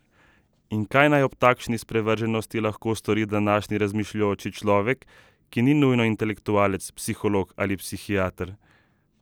In kaj naj ob takšni sprevrženosti lahko stori današnji razmišljujoči človek, ki ni nujno intelektualec, psiholog ali psihiater?